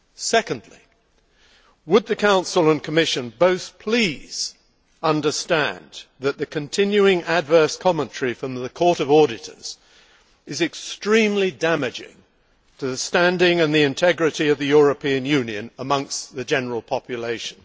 Secondly, would the Council and Commission both please understand that the continuing adverse commentary from the Court of Auditors is extremely damaging to the standing and the integrity of the European Union amongst the general population.